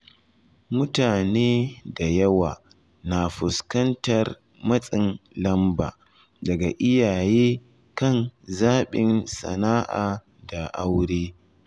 Mutane da yawa na fuskantar matsin lamba daga iyaye kan zaɓin sana’a da aure.